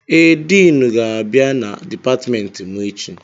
Ee, Diinu ga-abịa na dipatịmentị mụ echi.